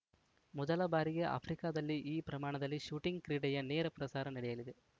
ಮೊದಲ ಬಾರಿಗೆ ಆಫ್ರಿಕಾದಲ್ಲಿ ಈ ಪ್ರಮಾಣದಲ್ಲಿ ಶೂಟಿಂಗ್‌ ಕ್ರೀಡೆಯ ನೇರ ಪ್ರಸಾರ ನಡೆಯಲಿದೆ